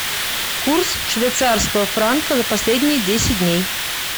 курс швейцарского франка за последние десять дней